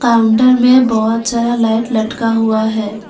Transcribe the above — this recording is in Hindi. काउंटर में बहोत सारा लाइट लटका हुआ है।